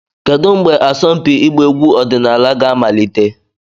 Kedu mgbe asọmpi ịgba egwu ọdịnala ga-amalite?